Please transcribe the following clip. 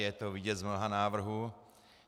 Je to vidět z mnoha návrhů.